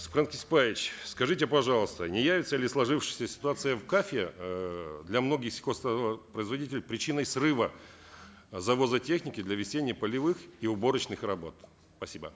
сапархан кесикбаевич скажите пожалуйста не явится ли сложившаяся ситуация в каф е эээ для многих сельхозтоваропроизводителей причиной срыва завоза техники для весенне полевых и уборочных работ спасибо